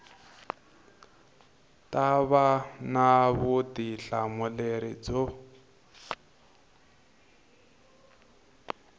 ta va na vutihlamuleri byo